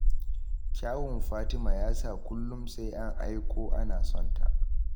Kyawun Fatima ya sa kullum sai an aiko ana sonta.